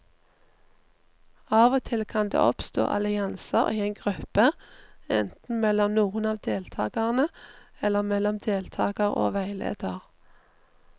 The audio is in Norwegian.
Av og til kan det oppstå allianser i en gruppe, enten mellom noen av deltakerne eller mellom deltakere og veileder.